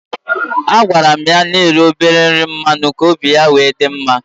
A gwara m ya na eri obele nri mmanụ, ka obi ya wee dị mma